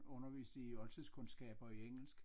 Underviste i oldtidskundskab og engelsk